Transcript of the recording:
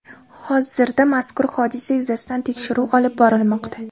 Hozirda mazkur hodisa yuzasidan tekshiruv olib borilmoqda.